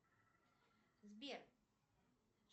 сбер